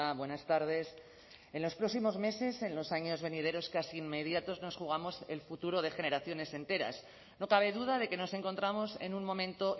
buenas tardes en los próximos meses en los años venideros casi inmediatos nos jugamos el futuro de generaciones enteras no cabe duda de que nos encontramos en un momento